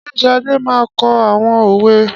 Ṣé Ṣadé máa kọ àwọn òwe?